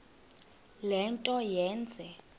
le nto yenze